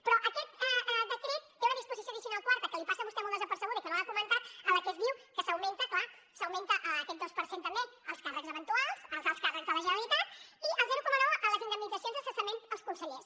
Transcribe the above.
però aquest decret té una disposició addicional quarta que li passa a vostè molt desapercebuda i que no l’ha comentat en la que es diu que s’augmenta clar aquest dos per cent també als càrrecs eventuals als alts càrrecs de la generalitat i el zero coma nou en les indemnitzacions de cessament als consellers